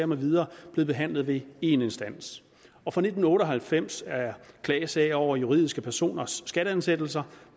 med videre blevet behandlet ved én instans og fra nitten otte og halvfems er klagesager over juridiske personers skatteansættelser